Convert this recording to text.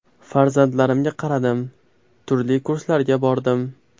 Farzandlarimga qaradim, turli kurslarga bordim.